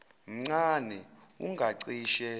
mncane wu ngacishe